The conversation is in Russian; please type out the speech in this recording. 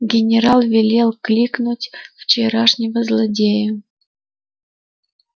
генерал велел кликнуть вчерашнего злодея